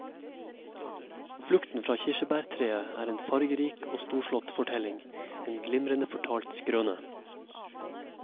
Flukten fra kirsebærtreet er en fargerik og storslått fortelling, en glimrende fortalt skrøne.